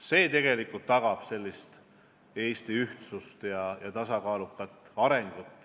See tegelikult tagab Eesti ühtsuse ja tasakaaluka arengu.